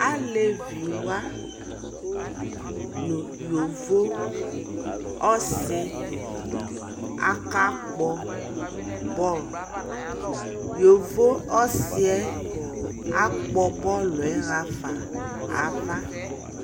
Alɛvi wa nu yovo ɔsi aka kpɔ bɔɔlYovo ɔsi yɛ akpɔ bɔɔlu ɣa fa na va